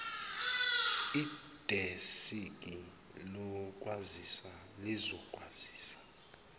idesiki lokwazisa lizokwazisa